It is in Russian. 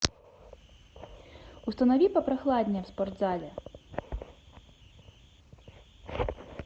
установи попрохладнее в спортзале